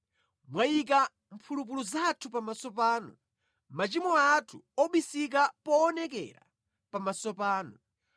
Mwayika mphulupulu zathu pamaso panu, machimo athu obisika poonekera pamaso panu.